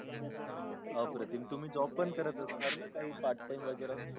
बापरे तुम्ही job पण करत असणार न काही part time वगेरा.